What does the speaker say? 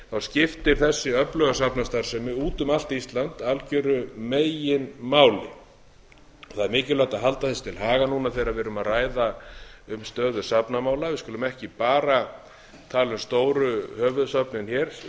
skiptir þessi öfluga safnastarfsemi út um allt ísland algjöru meginmáli það er mikilvægt að halda þessu til haga núna þegar við erum að ræða um stöðu safnamála við skulum ekki bara tala um stóru höfuðsöfnin hér